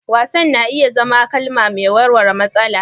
Wasan na iya zama kalma mai warware matsala.